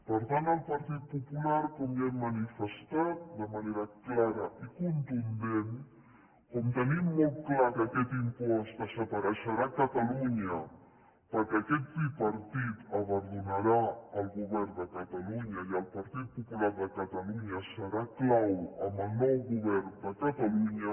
per tant el partit popular com ja hem manifestat de manera clara i contundent com tenim molt clar que aquest impost desapareixerà a catalunya perquè aquest tripartit abandonarà el govern de catalunya i el partit popular de catalunya serà clau en el nou govern de catalunya